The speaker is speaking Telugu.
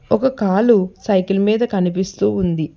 ఒక కాలు సైకిల్ మీద కనిపిస్తూ ఉంది.